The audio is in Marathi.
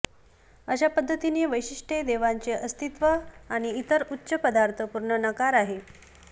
अशा पध्दतीने वैशिष्ट्ये देवाचे अस्तित्व आणि इतर उच्च पदार्थ पूर्ण नकार आहे